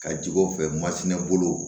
Ka jigi o fɛ masinɛ bolo